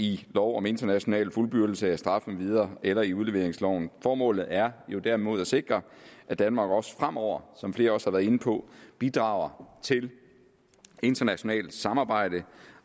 i lov om international fuldbyrdelse af straf med videre eller i udleveringsloven formålet er jo derimod at sikre at danmark også fremover som flere også har været inde på bidrager til internationalt samarbejde